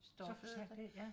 Så forsvandt det ja